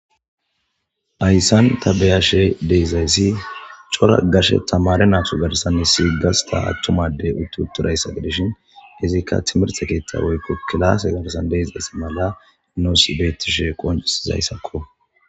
ayssan tabeyashe deizayssi cora gashe tamare naatu garsan issigasta attumade utti utturayssag dishin izikka timirte keeththa woykko kilaase garsan deezayssi mala noos beettishe qoncisizayssakko